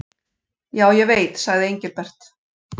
Já, ég veit sagði Engilbert.